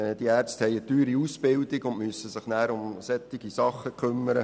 Die Ärzte haben eine teure Ausbildung hinter sich und müssen sich dann um solche Dinge kümmern.